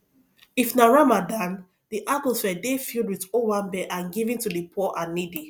if na ramadan di atmosphere dey filled with owambe and giving to di poor and needy